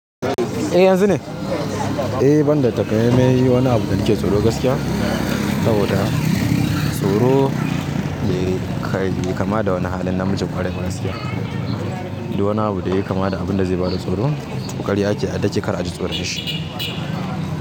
Eh yanzu ne? Eh banda taka mai mai wani abu da nake tsoro gaskiya saboda tsoro de kai bai kama da wani halin namiji ƙwarai ba gaskiya. Du wani abu da yake kama da abun da zai bada tsoro, to karya ce a dage kar a ji tsoron shi.